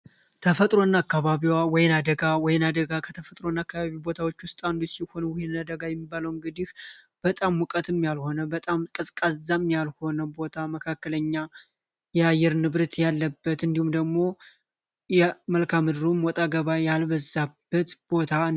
ተፈጥሮ እና አካባቢዋ ወይና ደጋ ወይና ደጋ ከተፈጥሮ እና አካባቢ ቦታዎች ውስጥ አንዱ ሲሆን ይህ ወይና ደጋ የሚባለውን እግዲህ በጣም ሙቀትም ያልሆነ በጣም ቀዝቃዛም ያልሆነ ቦታ መካከለኛ የአየር ንብርት ያለበት እንዲሁም ደግሞ መልካ ምድሩም ወጣ ገባ ያልበዛበት ቦታ ነው።